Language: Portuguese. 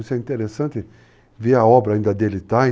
Isso é interessante, ver a obra ainda dele estar.